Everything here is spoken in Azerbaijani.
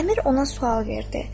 Əmir ona sual verdi.